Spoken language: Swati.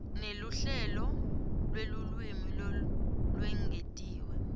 neluhlelo lwelulwimi lolwengetiwe